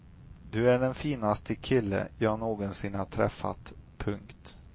Du är den finaste kille jag någonsin har träffat. punkt